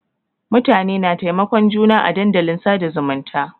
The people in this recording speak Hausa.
Mutane na taimakon juna à dandalin sada zumunta.